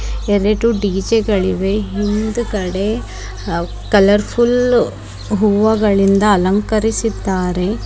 ಎರಡು ಡಿ.ಜೆ ಗಳಿವೆ ಹಿಂದ್ಗಡೆ ಅ- ಕಲರ್ ಫುಲ್ ಹೂವಗಳಿಂದ ಅಲಂಕರಿಸಿದ್ದಾರೆ.